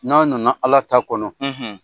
N'a nana Ala ta kɔnɔ.